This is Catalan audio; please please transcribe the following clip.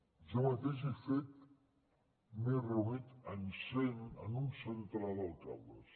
jo mateix he fet m’he reunit amb un centenar d’alcaldes